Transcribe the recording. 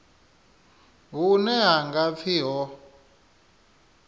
hune ha nga pfi ho